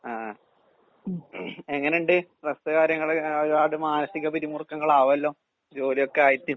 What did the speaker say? ആഹ്. എങ്ങന്ണ്ട്‌ സ്‌ട്രെസ് കാര്യങ്ങള് ഒക്കെ ഒരുപാട് മാനസിക പിരിമുറുക്കങ്ങളാവല്ലോ ജോലിയൊക്കെ ആയിട്ട്.